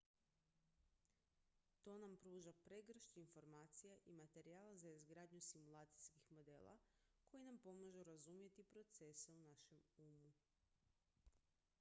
to nam pruža pregršt informacija i materijala za izgradnju simulacijskih modela koji nam pomažu razumjeti procese u našem umu